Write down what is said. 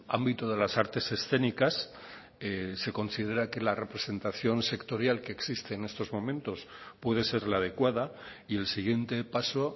ámbito de las artes escénicas se considera que la representación sectorial que existe en estos momentos puede ser la adecuada y el siguiente paso